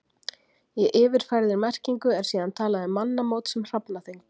Í yfirfærðri merkingu er síðan talað um mannamót sem hrafnaþing.